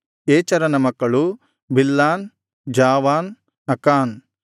ಏಚೆರನ ಮಕ್ಕಳು Bilhan Zaavan ಅಕಾನ್